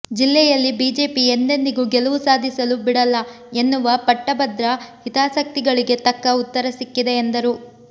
ಜಿಲ್ಲೆಯಲ್ಲಿ ಬಿಜೆಪಿ ಎಂದೆಂದಿಗೂ ಗೆಲುವು ಸಾಧಿಸಲು ಬಿಡಲ್ಲ ಎನ್ನುವ ಪಟ್ಟಭದ್ರ ಹಿತಾಸಕ್ತಿ ಗಳಿಗೆ ತಕ್ಕ ಉತ್ತರ ಸಿಕ್ಕಿದೆ ಎಂದರು